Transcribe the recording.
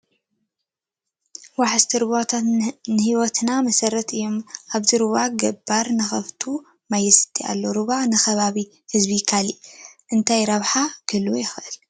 ወሓዘቲ ሩባትት ንህወትና መሰረት እዮም፡፡ ኣብዚ ሩባ ገባር ንኣኻፍቱ ማይ የስቲ ኣሎ፡፡ ሩባ ንከባቢ ህዝቢ ካልእ እንታይ ረብሓ ክህልዎ ይኽእል?